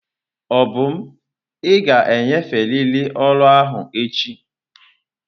Obum ị ga-enyeferịrị ọrụ ahụ echi!